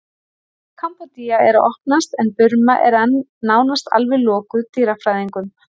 Kambódía er að opnast en Burma er enn nánast alveg lokuð dýrafræðingum.